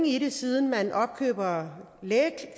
i det siden man opkøber